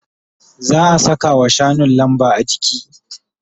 Za'a sakawa shanun lamba. ajiki